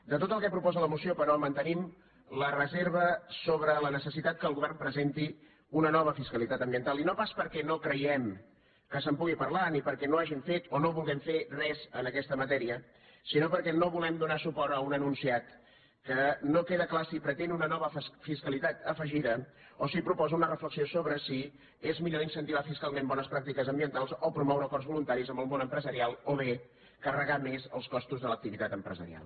de tot el que proposa la moció però mantenim la reserva sobre la necessitat que el govern presenti una nova fiscalitat ambiental i no pas perquè no creguem que se’n pugui parlar ni perquè no hàgim fet o no vulguem fer res en aquesta matèria sinó perquè no volem donar suport a un enunciat on no queda clar si pretén una nova fiscalitat afegida o si proposa una reflexió sobre si és millor incentivar fiscalment bones pràctiques ambientals o promoure acords voluntaris amb el món empresarial o bé carregar més els costos de l’activitat empresarial